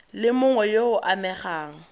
le mongwe yo o amegang